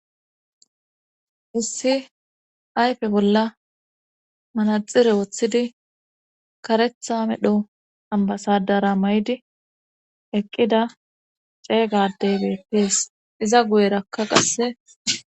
Issi ayfe bolla manaxire woththidi karetha medho ambasadara may7di eqqida ceeygadey beettees iza guyerakka qasse